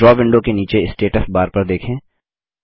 draw window के नीचे status bar पर देखें